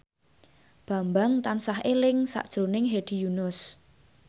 Bambang tansah eling sakjroning Hedi Yunus